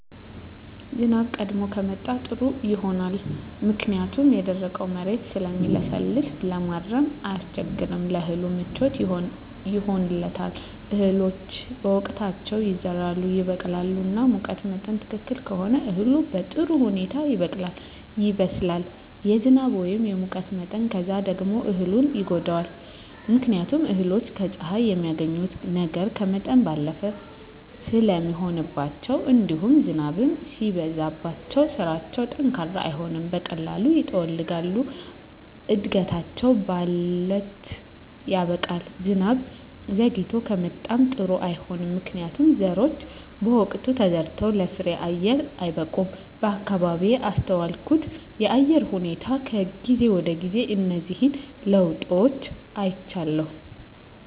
ዝናብ ቀድሞ ከመጣ ጥሩ ይሆናል ምክንያቱም የደረቀዉ መሬት ስለሚለሰልስ ለማረስ አያስቸግርም ለእህሉ ምቹ ይሆንለታል እህሎች በወቅታቸዉ ይዘራሉ ይበቅላሉ እና ሙቀት መጠን ትክክል ከሆነ እህሉ በጥሩ ሁኔታ ይበቅላል ይበስላል የዝናብ ወይም የሙቀት መጠን ከበዛ ደግሞ እህሉን ይጎዳዋል ምክንያቱም እህሎች ከፀሐይ የሚያገኙትን ነገር ከመጠን ባለፈ ስለሚሆንባቸዉእንዲሁም ዝናብም ሲበዛባቸዉ ስራቸዉ ጠንካራ አይሆንም በቀላሉ ይጠወልጋሉ እድገታቸዉ ባለት ያበቃል ዝናብ ዘይግቶ ከመጣም ጥሩ አይሆንም ምክንያቱም ዘሮች በወቅቱ ተዘርተዉ ለፍሬየአየር አይበቁም በአካባቢየ ያስተዋልኩት የአየር ሁኔታ ከጊዜ ወደጊዜ እነዚህን ለዉጦች አይቻለሁ